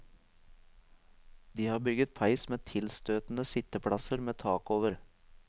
De har bygget peis med tilstøtende sitteplasser med tak over.